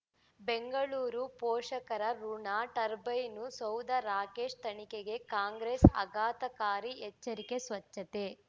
ಬೆಂಗಳೂರು ಪೋಷಕರಋಣ ಟರ್ಬೈನು ಸೌಧ ರಾಕೇಶ್ ತನಿಖೆಗೆ ಕಾಂಗ್ರೆಸ್ ಆಘಾತಕಾರಿ ಎಚ್ಚರಿಕೆ ಸ್ವಚ್ಛತೆ